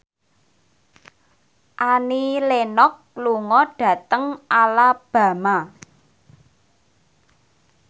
Annie Lenox lunga dhateng Alabama